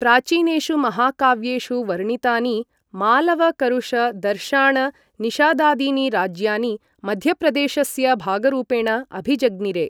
प्राचीनेषु महाकाव्येषु वर्णितानि मालव करुष दशार्ण निषादादीनि राज्यानि मध्यप्रदेशस्य भागरूपेण अभिजज्ञिरे।